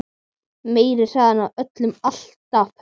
Meiri hraðinn á öllu alltaf hreint.